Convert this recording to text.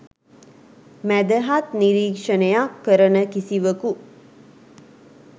මැදහත් නිරීක්ෂණයක් කරන කිසිවකු